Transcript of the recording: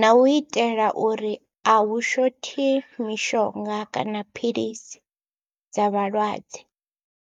na u itela uri a hu shothi mishonga kana philisi dza vhalwadze.